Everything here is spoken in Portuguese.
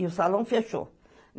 E o salão fechou.